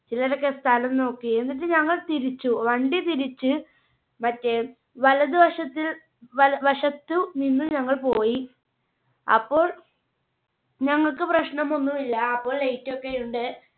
ചിലരൊക്കെ സ്ഥലം നോക്കി എന്നിട്ട് ഞങ്ങൾ തിരിച്ചു വണ്ടി തിരിച്ച് മറ്റേ വലതുവശത്തിൽ വല~വശത്തു നിന്ന് ഞങ്ങൾ പോയി. അപ്പോൾ ഞങ്ങൾക്ക് പ്രശ്നം ഒന്നും ഇല്ല അപ്പോൾ Light ഒക്കെ ഉണ്ട്.